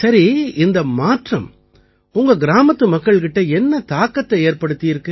சரி இந்த மாற்றம் உங்க கிராமத்து மக்கள் கிட்ட என்ன தாக்கத்தை ஏற்படுத்தியிருக்கு